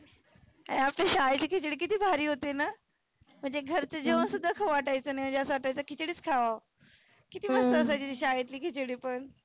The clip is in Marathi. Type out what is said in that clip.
आपल्या शाळेची खिचडी किती भारी होतीना. म्हणजे घरच जेवन सुद्धा खाऊ वाटायच नाही. म्हणजे असं वाटायच खिचडीच खावा. किती मस्त होती शाळेतली खिचडी पण.